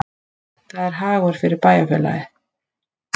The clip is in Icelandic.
Það er hagur fyrir bæjarfélagið